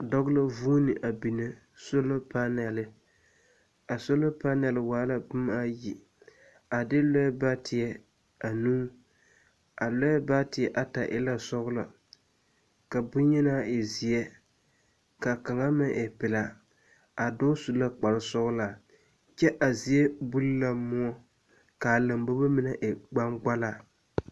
Dͻͻ la vuuni a bini soola panele. A soola panele waa la boma ayi a de lͻԑ baateԑ anuu. A lͻԑ baateԑ ata e la sͻgelͻ ka boŋyenaa e zeԑ ka kaŋa meŋ e pelaa. a dͻͻ su la kpare sͻgelaa kyԑ a zie buli la mõͻ ka a lambobo mine e gbaŋgbala.